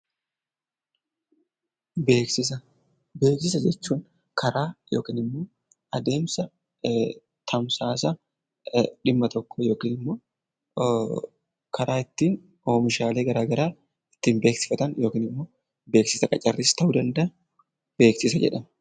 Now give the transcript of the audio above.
Beeksisa. Beeksisa jechuun karaa yookiin immoo adeemsa dhimma tokko yookiin immoo karaa ittiin oomishaalee gara garaq ittiin beeksifatan yookiin immoo beeksisa qacarriis ta'uu danda'a 'Beeksisa' jedhama.